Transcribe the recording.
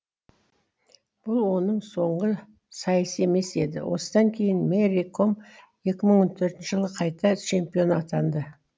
бұл оның соңғы сайсы емес еді осыдан кейін мэри ком екі мың он төртінші жылы қайта чемпион атанады